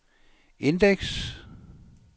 indeks